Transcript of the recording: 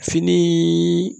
Fini